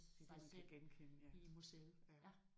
Det er det man kan genkende ja ja